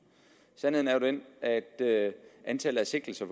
sandheden er den at antallet af sigtelser